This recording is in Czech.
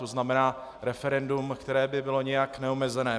To znamená referendum, které by bylo nějak neomezené.